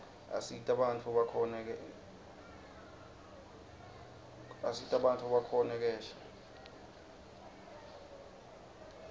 asita bantfu bakhone kephla